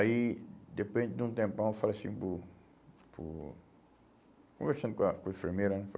Aí, depois de um tempão, eu falei assim, uh uh conversando com a com a enfermeira, né?